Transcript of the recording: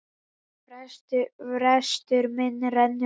Frestur minn rennur út.